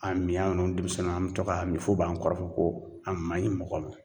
A mi an yeru denmisɛnninw an be to ka min, f'u b'an kɔrɔfɔ ko a man ɲi mɔgɔ ma.